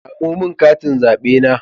Samo min katin zabe na.